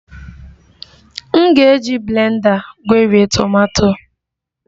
M ga-eji blenda gwerie tomato